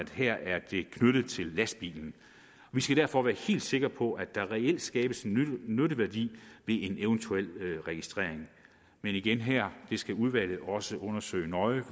her er knyttet til lastbilen vi skal derfor være helt sikre på at der reelt skabes en nytteværdi ved en eventuel registrering men igen her skal udvalget også undersøge det nøje